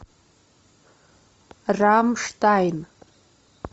рамштайн